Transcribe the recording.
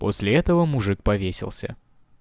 после этого мужик повесился